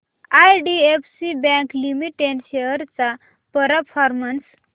IDFC Bank Limited shares चा performance